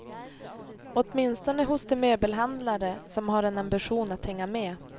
Åtminstone hos de möbelhandlare som har en ambition att hänga med.